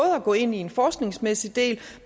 at gå ind i en forskningsmæssig del